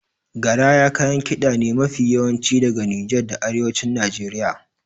Garaya kayan kiɗa ne mafi yawanci daga Nijar da Arewacin Najeriya.